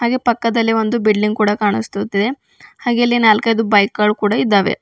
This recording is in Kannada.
ಹಾಗೆ ಪಕ್ಕದಲ್ಲಿ ಒಂದು ಬಿಲ್ಡಂಗ್ ಕೂಡ ಕಾಣಿಸುತ್ತಿದೆ ಹಾಗೆ ಅಲ್ಲಿ ನಾಲ್ಕೈದು ಬೈಕ್ ಗಳ್ ಕೂಡ ಇದ್ದಾವೆ.